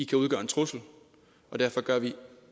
kan udgøre en trussel og derfor gør vi